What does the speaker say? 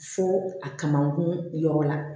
Fo a kamakun yɔrɔ la